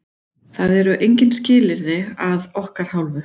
Það eru engin skilyrði að okkar hálfu.